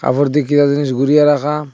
ওপর দিকে জিনিস ঘুরিয়ে রাখা।